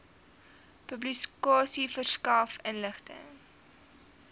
publikasie verskaf inligting